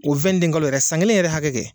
O kalo yɛrɛ san kelen yɛrɛ hakɛ kɛ.